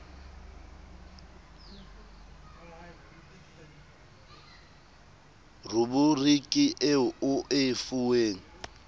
ruburiki eo o e fuweng